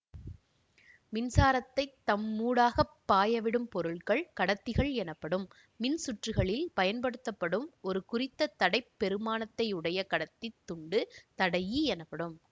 மின்சாரத்தைத் தம்மூடாகப் பாயவிடும் பொருட்கள் கடத்திகள் எனப்படும் மின் சுற்றுக்களில் பயன்படுத்தப்படும் ஒரு குறித்த தடை பெறுமானத்தையுடைய கடத்தித் துண்டு தடையி எனப்படும்